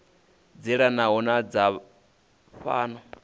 dzi elanaho na dza fhano